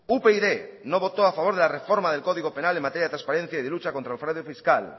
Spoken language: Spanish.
upyd no votó a favor de la reforma del código penal en materia de transparencia y de lucha contra el fraude fiscal